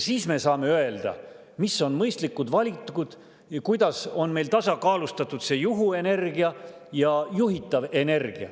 Siis me saame öelda, mis on mõistlikud valikud, kuidas on meil tasakaalustatud juhuenergia ja juhitav energia.